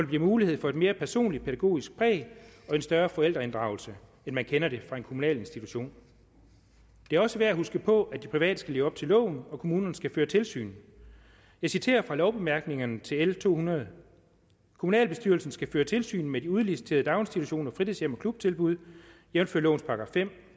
bliver mulighed for et mere personligt pædagogisk præg og en større forældreinddragelse end man kender det fra en kommunal institution det er også værd at huske på at de private skal leve op til loven og at kommunerne skal føre tilsyn jeg citerer fra lovbemærkningerne til l 200 kommunalbestyrelsen skal føre tilsyn med de udliciterede daginstitutioner fritidshjem og klubtilbud jævnfør lovens § femte